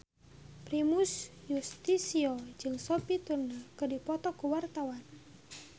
Primus Yustisio jeung Sophie Turner keur dipoto ku wartawan